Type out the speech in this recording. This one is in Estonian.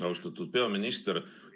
Austatud peaminister!